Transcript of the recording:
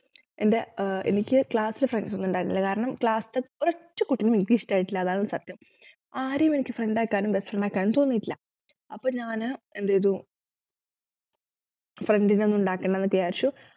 എന്റെ ഏർ എനിക്ക് CLASS ൽ friends ഒന്നും ഇണ്ടായിരുന്നില്ല കാരണം CLASS ത്തെ ഒരൊറ്റ കുട്ടീനെ എനിക്കിഷ്ടായിട്ടില്ല അതാണ് സത്യം ആരെയും എനിക്ക് friend ആക്കാനും best friend ആക്കാനും തോന്നീട്ടില്ല അപ്പൊ ഞാന് എന്ത്‌ചെയ്തു friend നെ ഒന്നും ഉണ്ടാക്കേണ്ടന്നു വിചാരിച്ചു